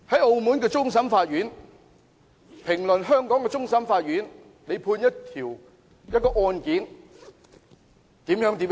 澳門終審法院發表評論，指香港終審法院的判決出錯。